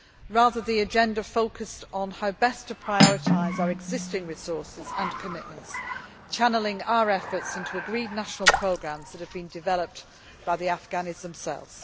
Rather, the agenda focused on how best to prioritise our existing resources and commitments, channelling our efforts into agreed national programmes that have been developed by the Afghanis themselves.